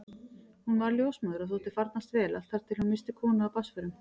Hún varð ljósmóðir og þótti farnast vel allt þar til hún missti konu af barnsförum.